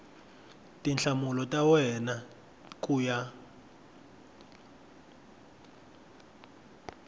tinhlamulo ta wena ku ya